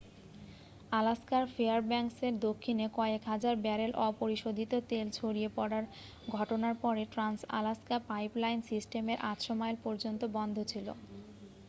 আলাস্কার ফেয়ারব্যাঙ্কসের দক্ষিণে কয়েক হাজার ব্যারেল অপরিশোধিত তেল ছড়িয়ে পড়ার ঘটনার পরে ট্রান্স-আলাস্কা পাইপলাইন সিস্টেমের 800 মাইল পর্যন্ত বন্ধ ছিল